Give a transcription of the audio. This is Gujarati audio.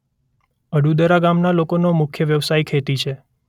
અડુદરા ગામના લોકોનો મુખ્ય વ્યવસાય ખેતી છે.